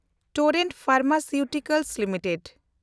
Torrent pharmaceuticals limited